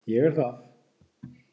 Ég er það.